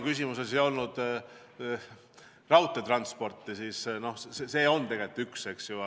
Küsimuses ei mainitud raudteetransporti, aga ka see on tegelikult üks võimalusi, eks ju.